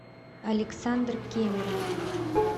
александр кемеров